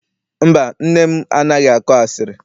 Mba, nne m anaghị akọ asịrị.